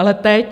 Ale teď?